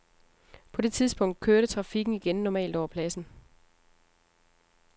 På det tidspunkt kørte trafikken igen normalt over pladsen.